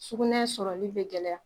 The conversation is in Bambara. Sugunɛ sɔrɔli bɛ gɛlɛya